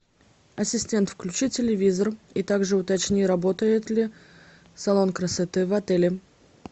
ассистент включи телевизор и также уточни работает ли салон красоты в отеле